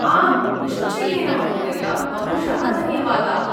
आम्, निश्चयेन, महोदय! बहुशः धन्यवादाः।